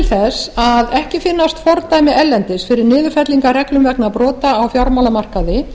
þess að ekki finnast fordæmi erlendis fyrir niðurfellingarreglum vegna brota á fjármálamarkaði